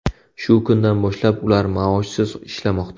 Shu kundan boshlab ular maoshsiz ishlamoqda.